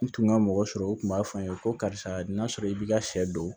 N tun ka mɔgɔ sɔrɔ u tun b'a fɔ n ye ko karisa n'a sɔrɔ i b'i ka sɛ don